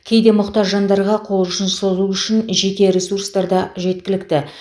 кейде мұқтаж жандарға қол ұшын созу үшін жеке ресурстар да жеткілікті